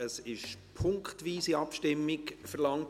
Es wurde eine punktweise Abstimmung verlangt.